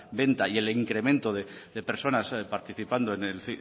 venta y el incremento de personas participando en el